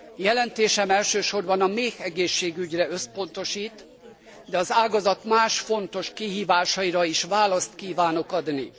Jelentésem elsősorban a méhegészségügyre összpontosít, de az ágazat más fontos kihívásaira is választ kívánok adni.